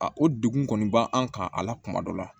A o degun kɔni ba an kan a la kuma dɔ la